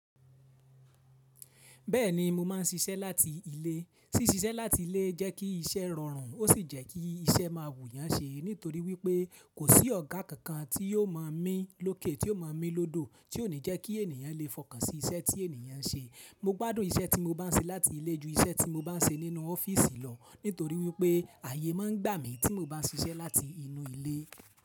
Bẹ́ẹ̀ni mo máa ń ṣiṣẹ́ láti ilé. Sí ṣiṣẹ́ láti ilé jẹ́ kí iṣẹ́ rọrùn ó sì jẹ́ kí iṣẹ́ máa wù yán ṣe, nítorí wípé kò sí ọ̀gá kankan tí yóò máa mí lókè tí ó máa mí lódò, tí ó ní jẹ́ kí ènìyàn lè fọkàn sí iṣẹ́ tí ènìyàn ń ṣe. Mo gbádùn iṣẹ́ tí mo bá ń ṣe láti ilé ju iṣẹ́ tí mo bá ń ṣe nínú ọ́fíìsì lọ, nítorí wípé ààyè máa ń gbà mí tí mo bá ń ṣiṣẹ́ láti inú ilé.